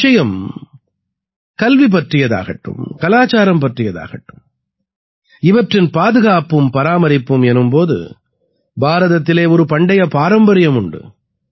விஷயம் கல்வி பற்றியதாகட்டும் கலாச்சாரம் பற்றியதாகட்டும் இவற்றின் பாதுகாப்பும் பராமரிப்பும் எனும் போது பாரதத்திலே ஒரு பண்டைய பாரம்பரியம் உண்டு